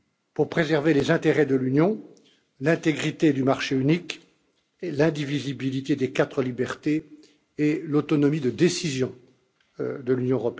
pour préserver les intérêts de l'Union européenne, l'intégrité du marché unique et l'indivisibilité des quatre libertés, et l'autonomie de décision de l'Union.